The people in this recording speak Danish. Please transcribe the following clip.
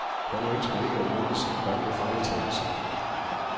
Han ønsker ikke at mindes om gamle fejltagelser.